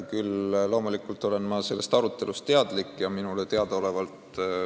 Küll olen ma sellest arutelust loomulikult teadlik.